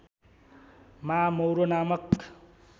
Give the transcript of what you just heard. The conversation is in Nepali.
मा मौरो नामक